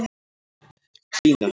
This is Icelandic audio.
Bína